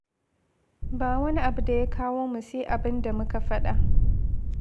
Ba wani abu da ya kawo mu sai abin da muka faɗa.